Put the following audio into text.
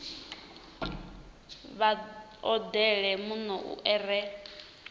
vha odele muno u re